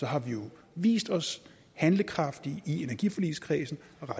har vi jo vist os handlekraftige i energiforligskredsen